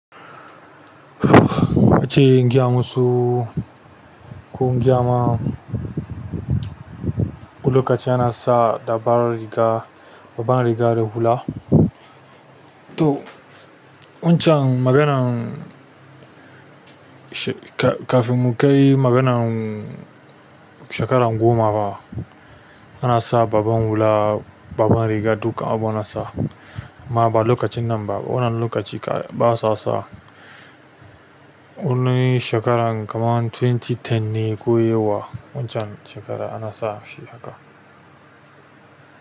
Wacce ingiya musu, ƙungiya ma lokaci ana sa dabar riga, babban riga da hula. To wancan maganan shi ka kafin mu kai maganan shekaran goma ba, ana sa babban hula, babban riga duka abu nasa. Ma ba lokacin nan ba, wannan lokaci basa --sa. Wanni shekaran kaman dubu biyu da goma ne koyewa wancan shekara ana sa shi haka.